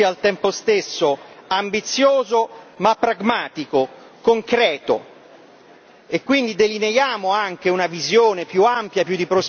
Noi condividiamo, con la Commissione, la necessità di un approccio che sia, al tempo stesso, ambizioso ma pragmatico, concreto.